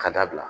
Ka dabila